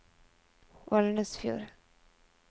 Valnesfjord